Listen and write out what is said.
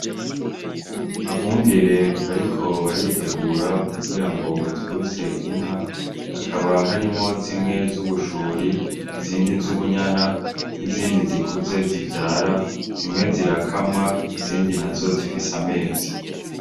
Abungere bariko baritegura kugira ngo baturutse inka hakaba harimwo zimwe z'ubushuri izindi z'ubunyana n'izindi zikuze zivyara zimwe zirakamwa izindi na zo zifise amezi.